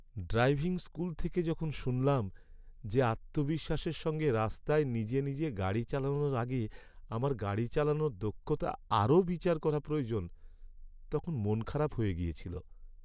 Driving school থেকে যখন শুনলাম যে আত্মবিশ্বাসের সঙ্গে রাস্তায় নিজে নিজে গাড়ি চালানোর আগে আমার গাড়ি চালানোর দক্ষতা আরও বিচার করা প্রয়োজন, তখন মনখারাপ হয়ে গেছিল।